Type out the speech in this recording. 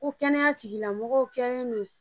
Ko kɛnɛya tigilamɔgɔw kɛ